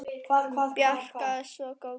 Bjarki var svo góður.